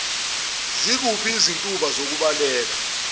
zikuphi izintuba zokubaleka